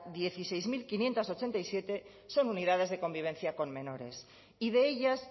dieciséis mil quinientos ochenta y siete son unidades de convivencia con menores y de ellas